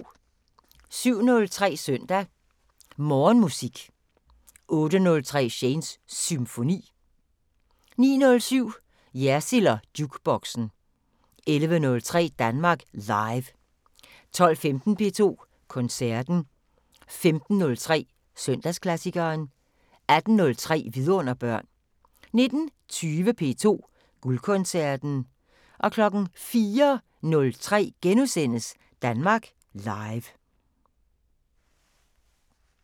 07:03: Søndag Morgenmusik 08:03: Shanes Symfoni 09:07: Jersild & Jukeboxen 11:03: Danmark Live 12:15: P2 Koncerten 15:03: Søndagsklassikeren 18:03: Vidunderbørn 19:20: P2 Guldkoncerten 04:03: Danmark Live *